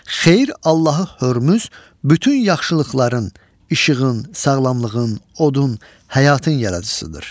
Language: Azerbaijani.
Xeyir Allahı Hörmüz bütün yaxşılıqların, işığın, sağlamlığın, odun, həyatın yaradıcısıdır.